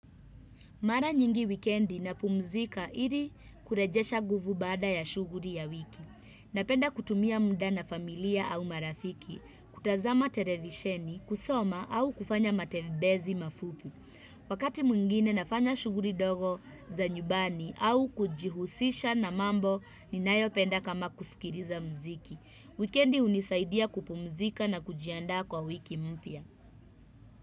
Mara nyingi wikendi napumzika iri kurejesha nguvu baada ya shughuri ya wiki. Napenda kutumia muda na familia au marafiki, kutazama televisheni, kusoma au kufanya matembezi mafupi Wakati mwingine nafanya shughuri ndogo za nyumbani au kujihusisha na mambo ninayo penda kama kusikiriza mziki. Wikendi hunisaidia kupumzika na kujiandaa kwa wiki mpya.